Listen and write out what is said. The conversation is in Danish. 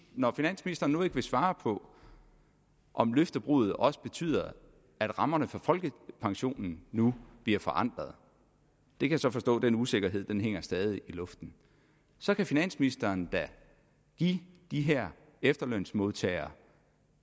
når finansministeren nu ikke vil svare på om løftebruddet også betyder at rammerne for folkepensionen nu bliver forandret jeg kan så forstå at den usikkerhed stadig i luften så kan finansministeren da give de her efterlønsmodtagere